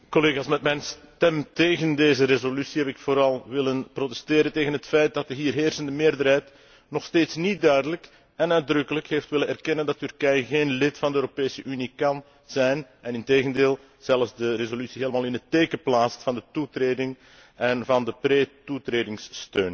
Met mijn stem tegen deze resolutie heb ik vooral willen protesteren tegen het feit dat de hier heersende meerderheid nog steeds niet duidelijk en uitdrukkelijk heeft willen erkennen dat Turkije geen lid van de Europese Unie kan zijn en, integendeel, zelfs de resolutie helemaal in het teken plaatst van de toetreding en van de pretoetredingssteun.